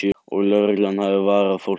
Og lögreglan hafi varað fólk við